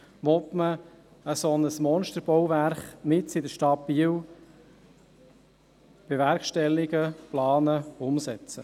Will man ein solches Monsterbauwerk mitten in der Stadt Biel bewerkstelligen, planen, umsetzen?